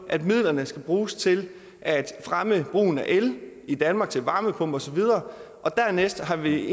at midlerne skal bruges til at fremme brugen af el i danmark til varmepumper osv og dernæst har vi